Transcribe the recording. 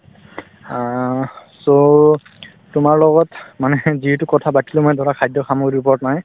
আহ্, so তোমাৰ লগত মানে যিহেতু কথাপাতিলো মানে ধৰা খাদ্য সামগ্ৰীৰ ওপৰত মানে